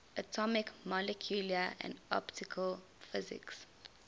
atomic molecular and optical physics